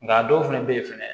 Nka a dɔw fana bɛ yen fɛnɛ